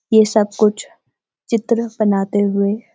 ये सब कुछ चित्र बनाते हुए।